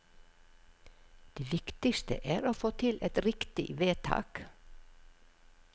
Det viktigste er å få til et riktig vedtak.